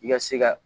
I ka se ka